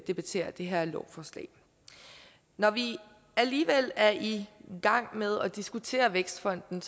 debatterer det her lovforslag når vi alligevel er i gang med at diskutere vækstfonden